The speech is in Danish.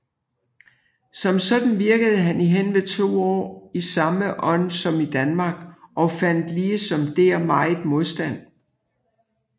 Som sådan virkede han i henved 2 åar i samme ånd som i Danmark og fandt ligesom der megen modstand